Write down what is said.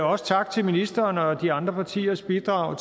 også tak til ministeren og de andre partiers bidrag